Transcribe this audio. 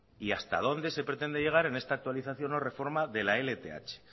y hasta dónde se pretende llegar en esta actualización o reforma de la lph